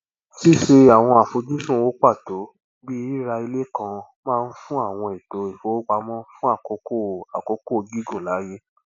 ṣíṣe àwọn àfojúsùn owó pàtó bí rírà ilé kan máa ń fún àwọn ètò ìfowópamọ fún àkókò àkókò gígùn láyè